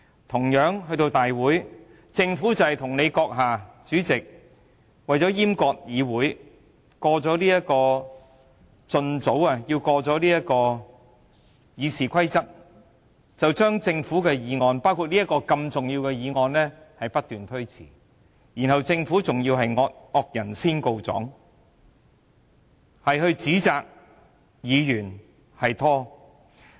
同樣地，政府與大會主席閣下為了閹割議會，盡早通過修改《議事規則》，就把政府的議案，包括如此重要的《條例草案》不斷推遲，政府之後更"惡人先告狀"，指責議員拖延。